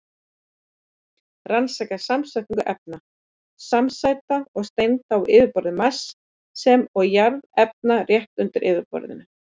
Rannsaka samsetningu efna, samsæta og steinda á yfirborði Mars sem og jarðefna rétt undir yfirborðinu.